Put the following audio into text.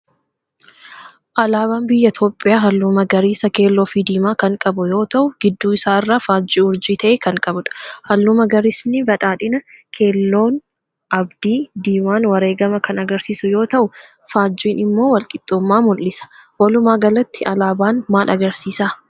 Alaabaan Biyya Itoophiyaa Halluu magariisa, keelloo fi diimaa kan qabu yoo ta'u gidduu isaa irraa faajjii urjii ta'e kan qabudha. Halluu magariisnii badhaadhina, keelloon abdii, diimaan wareegama kan agarsiisu yoo ta'u, faajjiin immoo walqixxuummaa mul'isa. walumaa galatti aalaabaan maal agarsiisa?